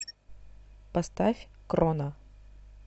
поставь кроно